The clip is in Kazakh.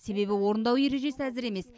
себебі орындау ережесі әзір емес